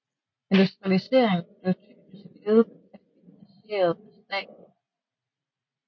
Industrialiseringen blev typisk ledet og finansieret af staten